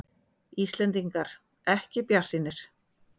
Íslendingar ekki bjartsýnir